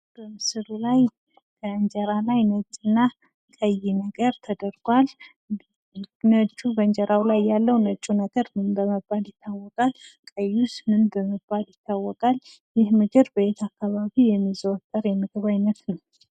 በምስሉ ላይ ከእንጀራ ላይ ነጭ እና ቀይ ነገር ተደርጓል። ነጩ በእንጀራው ላይ ያለው ነጩ ነገር ምን በመባል ይታወቃል? ቀዩስ ምን በመባል ይታወቃል? ይህ ምግብ በየት አካባቢ የሚዘወተር የምግብ አይነት ነው?